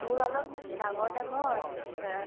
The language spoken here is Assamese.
মোৰ অলপ ডাঙৰ ডাঙৰ এ